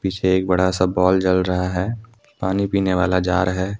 पीछे एक बड़ा सा बॉल जल रहा है पानी पीने वाला जार है।